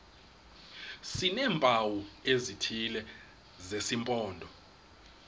sineempawu ezithile zesimpondo